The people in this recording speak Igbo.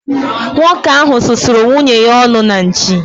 Nwoke ahụ susuru nwunye ya ọnụ na nchi